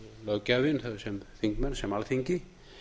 löggjafinn sem þingmenn sem alþingi